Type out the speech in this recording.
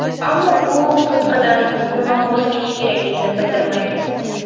Ammo bu bo‘tqadan, umuman, voz kechish kerakligini bildirmaydi.